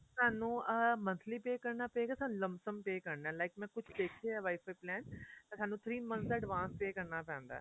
ਸਾਨੂੰ ਅਹ monthly pay ਕਰਨਾ ਪਏਗਾ ਸਾਨੂੰ ਲਮ ਸਮ pay ਕਰਨਾ like ਮੈਂ ਕੁੱਝ ਦੇਖਿਆ WIFI plan ਤਾਂ ਸਾਨੂੰ three month ਦਾ advance pay ਕਰਨਾ ਪੈਂਦਾ